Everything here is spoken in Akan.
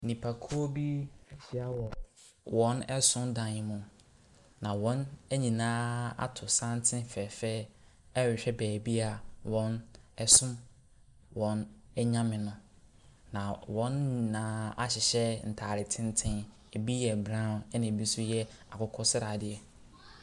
Nipakuo bi ahyia wɔ wɔn som dan mu, na wɔn nyinaa ato santene fɛɛfɛɛ rehwɛ baabi a wɔsom wɔn nyame no, na wɔn nyinaa ahyehyɛ ntase teten. Ɛbi yɛ brown, ɛna ɛbi nso yɛ akokɔ sradeɛ.